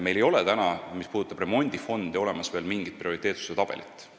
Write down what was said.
Meil ei ole veel, mis puudutab remondifondi, olemas mingit prioriteetsuse tabelit.